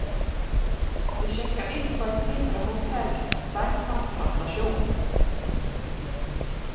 Vi sjekker inn på et mindre hotell et steinkast fra stasjonen.